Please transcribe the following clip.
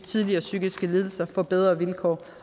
tidligere psykiske lidelser får bedre vilkår